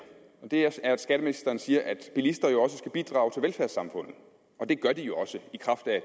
er at skatteministeren siger at bilister jo også skal bidrage til velfærdssamfundet det gør de jo også i kraft af